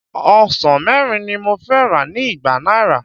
Ọsàn mẹ́rin ni mo fẹ́ rà ní igba náírà.